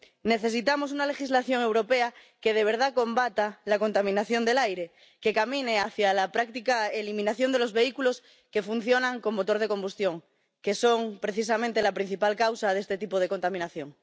Necesitamos una legislación europea que de verdad combata la contaminación del aire, que camine hacia la práctica eliminación de los vehículos que funcionan con motor de combustión, que son, precisamente, la principal causa de este tipo de contaminación.